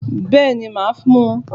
Bẹ́ẹ̀ni màá mu